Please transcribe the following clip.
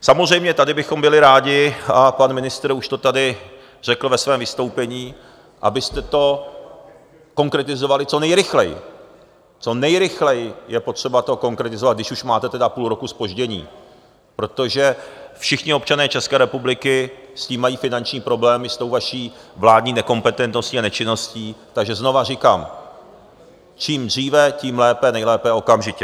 Samozřejmě tady bychom byli rádi, a pan ministr už to tady řekl ve svém vystoupení, abyste to konkretizovali co nejrychleji, co nejrychleji je potřeba to konkretizovat, když už máte tedy půl roku zpoždění, protože všichni občané České republiky s tím mají finanční problémy, s tou vaší vládní nekompetentností a nečinností, takže znovu říkám, čím dříve, tím lépe, nejlépe okamžitě.